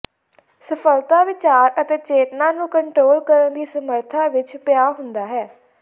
ਸਫਲਤਾ ਵਿਚਾਰ ਅਤੇ ਚੇਤਨਾ ਨੂੰ ਕੰਟਰੋਲ ਕਰਨ ਦੀ ਸਮਰੱਥਾ ਵਿੱਚ ਪਿਆ ਹੁੰਦਾ ਹੈ